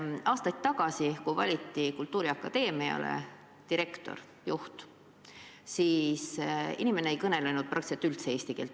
Aastaid tagasi, kui valiti kultuuriakadeemiale juht, siis see inimene ei kõnelenud praktiliselt üldse eesti keelt.